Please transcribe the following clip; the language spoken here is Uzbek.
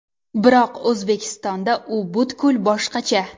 Biroq O‘zbekistonda u butkul boshqacha.